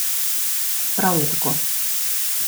Prav je tako!